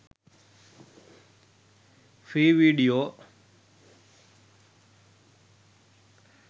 free video